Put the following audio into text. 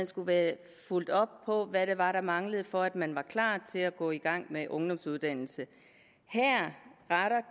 skulle være fulgt op på hvad det var der manglede for at man var klar til at gå i gang med en ungdomsuddannelse